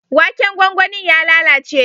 Waken gwangwanin ya lalace.